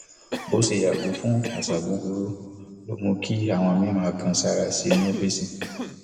bó ṣe yàgò fún àṣà búburú ló mú kí àwọn míì máa kan sáárá sí i ní ọfíìsì